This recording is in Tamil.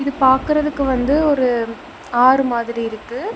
இது பாக்குறதுக்கு வந்து ஒரு ஆறு மாதிரி இருக்கு.